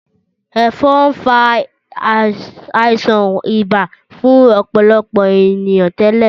Ẹ̀fọn fa àìsàn ibà fún ọ̀pọ̀lọpọ̀ ènìyàn tẹ́lẹ̀